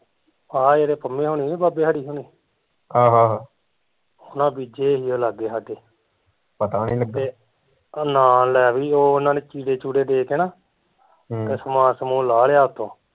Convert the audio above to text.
ਆਹ ਜਿਹੜੇ ਪਮੇ ਹੁਣੀ ਨੀ ਬਾਬੇ ਸਾਡੇ ਹੁਣੀ ਓਹਨਾਂ ਬੀਜੇ ਸੀਗੇ ਲਾਗੇ ਸਾਡੇ ਨਾ ਲੈ ਬਈ ਉਹਨਾਂ ਨੇ ਚੀੜੇ ਚੁੜੇ ਦੇ ਕੇ ਨਾ ਹਮ ਤੇ ਸਮਾਨ ਸੁਮਾਨ ਲਾ ਲਿਆ ਉੱਤੋਂ